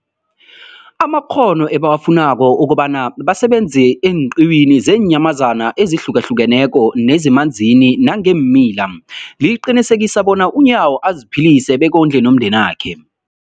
amakghono ebawafunako ukobana basebenze eenqiwini zeenyamazana ezihlukahlukeneko nezemanzini nangeemila, liqinisekisa bona uNyawo aziphilise bekondle nomndenakhe.